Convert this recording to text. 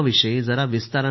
जरा विस्तारानं सांगा